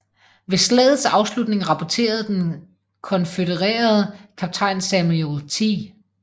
Ved slagets afslutning rapporterede den konfødererede kaptajn Samuel T